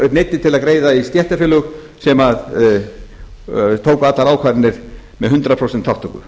neyddir til að greiða í stéttarfélög sem tóku allar ákvarðanir með hundrað prósent þátttöku